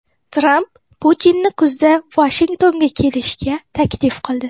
Tramp Putinni kuzda Vashingtonga kelishga taklif qildi.